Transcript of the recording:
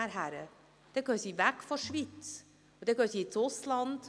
– Dann gehen sie weg aus der Schweiz, sie gehen dann ins Ausland.